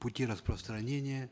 пути распространения